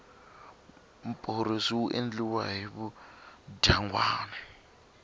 mporosi wu endliwa hi vudyangwani